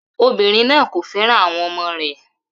Obinrin naa ko fẹran awọn ọmọ rẹ